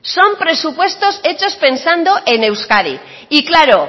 son presupuestos hechos pensando en euskadi y claro